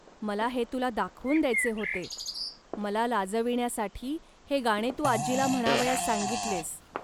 मला हे तुला दाखवून द्यावयाचे होते. मला लाजविण्यासाठी हे गाणे तू आजीला म्हणावयास सांगितलेस